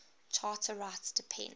charter rights depend